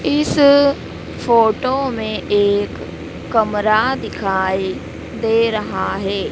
इस फोटो में एक कमरा दिखाई दे रहा है।